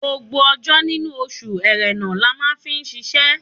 Gbogbo ọjọ́ nínú oṣù Ẹ̀rẹnà la máa fi ṣiṣẹ́.